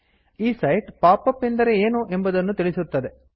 ಈ site pop up ಎಂದರೆ ಏನು ಎಂಬುದನ್ನು ತಿಳಿಸುತ್ತದೆ